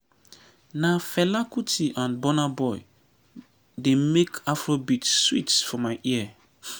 na fela kuti and burna boy dey make afrobeat sweet for my ear.